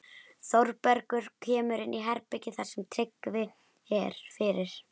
Þórbergur kemur inn í herbergið þar sem Tryggvi er fyrir.